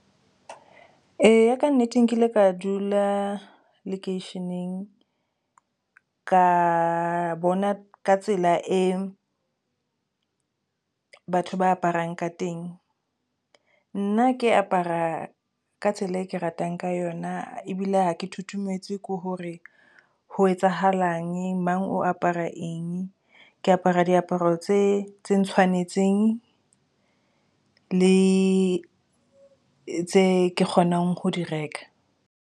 Eya, ka nnete nkile ka dula lekeisheneng ka bona ka tsela e batho ba aparang ka teng. Nna ke apara ka tsela e ke ratang ka yona ebile ha ke thutometswe ko hore ho etsahalang mang o apara eng. Ke apara diaparo tse tse ntshwanetseng le tse kgonang ho di reka.